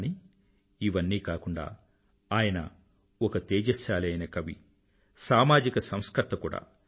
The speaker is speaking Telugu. కానీ ఇవన్నీ కాకుండా ఆయన ఒక తేజశ్శాలి అయిన కవి సామాజిక సంస్కర్త కూడా